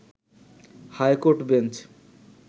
high court bench